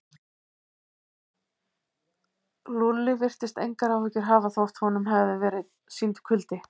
Lúlli virtist engar áhyggjur hafa þótt honum hefði verið sýndur kuldi.